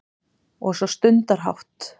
Og svo stundarhátt